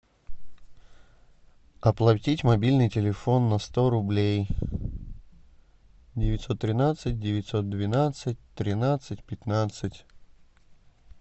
оплатить мобильный телефон на сто рублей девятьсот тринадцать девятьсот двенадцать тринадцать пятнадцать